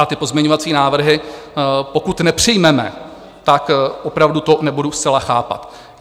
A ty pozměňovací návrhy, pokud nepřijmeme, tak opravdu to nebudu zcela chápat.